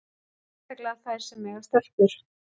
Sérstaklega þær sem eiga stelpur.